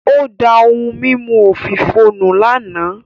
Ó da ohun mímu òfìò nù lánàá